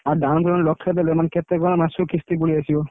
ଆଉ down payment ଲକ୍ଷେ ଦେଲେ ମାନେ କେତେ କଣ ମାସକୁ କିସ୍ତି ପଳେଇ ଆସିବ?